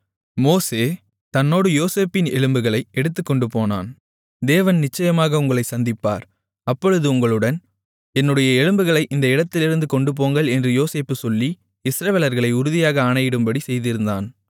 மோசே தன்னோடு யோசேப்பின் எலும்புகளை எடுத்துக்கொண்டு போனான் தேவன் நிச்சயமாக உங்களைச் சந்திப்பார் அப்பொழுது உங்களுடன் என்னுடைய எலும்புகளை இந்த இடத்திலிருந்து கொண்டுபோங்கள் என்று யோசேப்பு சொல்லி இஸ்ரவேலர்களை உறுதியாக ஆணையிடும்படிச் செய்திருந்தான்